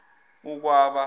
ukwaba